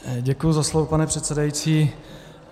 Děkuji za slovo, pane předsedající.